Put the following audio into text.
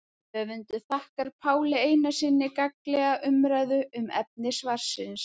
Höfundur þakkar Páli Einarssyni gagnlega umræðu um efni svarsins.